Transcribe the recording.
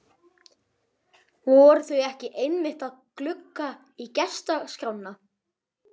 Voru þau ekki einmitt að glugga í gestaskrána?